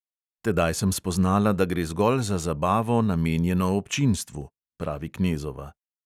"Tedaj sem spoznala, da gre zgolj za zabavo, namenjeno občinstvu," pravi knezova.